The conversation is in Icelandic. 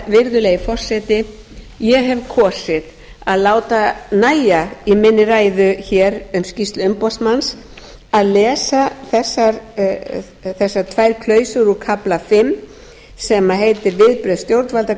virðulegi forseti ég hef kosið að láta nægja í minni ræðu hér um skýrslu umboðsmanni að lesa þessar tvær klausur úr kafla fimm sem heitir viðbrögð stjórnvalda